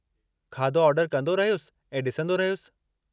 खाधो ऑर्डर कंदो रहियुसि ऐं ॾिसंदो रहियुसि।